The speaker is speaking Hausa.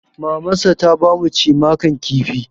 Mamansa ta ba mu cimakan kifi.